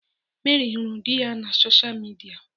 Mary huru di ya na soshal midia.